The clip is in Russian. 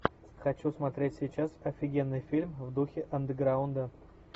хочу смотреть сейчас офигенный фильм в духе андерграунда